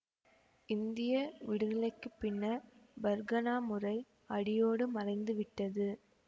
இந்திய விடுதலைக்கு பின்னர் பர்கனா முறை அடியோடு மறைந்து விட்டது